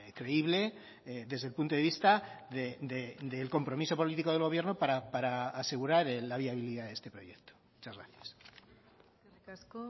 creíble desde el punto de vista del compromiso político del gobierno para asegurar la viabilidad de este proyecto muchas gracias eskerrik asko